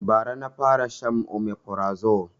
Ba ra na fara shan omefrazo